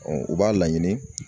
u b'a laɲini